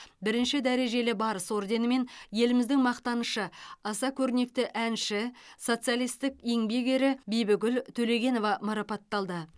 бірінші дәрежелі барыс орденімен еліміздің мақтанышы аса көрнекті әнші социалистік еңбек ері бибігүл төлегенова марапатталды